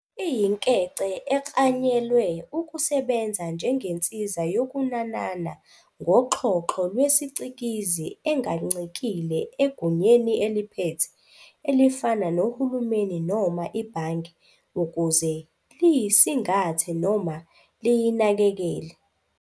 Iyinkece eklanyelwe ukusebenza njengensiza yokunanana ngoxhoxho lwesicikizi engancikile egunyeni eliphethe, elifana nohulumeni noma ibhange, ukuze liyisingathe noma liyinakekele.